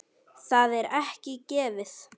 Það er ekki gefið.